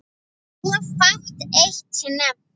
Svo fátt eitt sé nefnt.